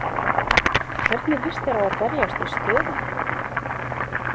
Hvernig lýst þér á að berjast við stöðuna við þá?